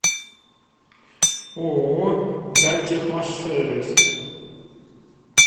ооо дальтехмашсервис